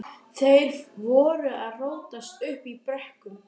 Þeir voru að rótast uppi í brekkum.